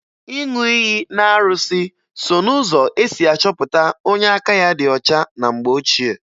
Ịṅụ iyi n'arụsị so n'ụzọ e si achọpụta onye aka ya dị ọcha na mgbe ochie